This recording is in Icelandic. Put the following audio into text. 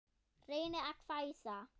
Reynir að hvæsa.